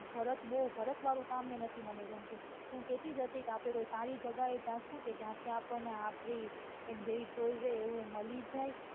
ભારત ભારત વાળું કામ નથી ગમતું મને હું કેતી જ હતી ક આપડે કોઈ સારી જગાહે જાસુ કે જ્યાંથી આપણને આપડી ઈન જેવી choice હોય એવું મળી જાય